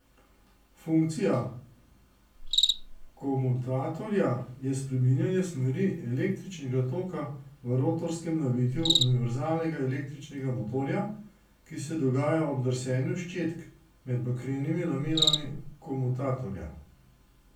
Funkcija komutatorja je spreminjanje smeri električnega toka v rotorskem navitju univerzalnega električnega motorja, ki se dogaja ob drsenju ščetk med bakrenimi lamelami komutatorja.